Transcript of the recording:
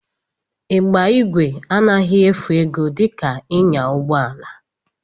Ịgba ígwè anaghị efu ego dika ịnya ụgbọala